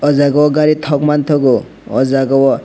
o jaga o gari thok manthogo o jaga o.